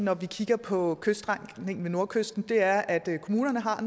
når vi kigger på kyststrækningen ved nordkysten er at kommunerne har